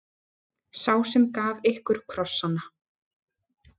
Sá sem gaf ykkur krossana.